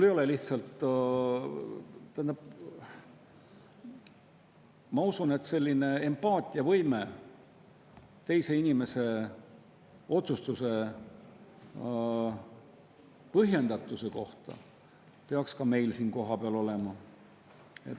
Ma usun, et selline empaatiavõime teise inimese otsustuse põhjendatuse kohta peaks meil ka siin kohapeal olema.